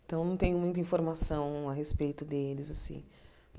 Então, eu não tenho muita informação a respeito deles assim.